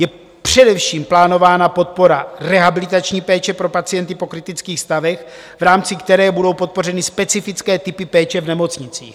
Je především plánována podpora rehabilitační péče pro pacienty po kritických stavech, v rámci které budou podpořeny specifické typy péče v nemocnicích.